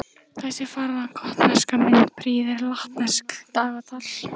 Þessi fagra gotneska mynd prýðir latneskt dagatal.